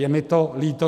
Je mi to líto.